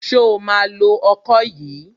Ṣo ma lo ọkọ yìí?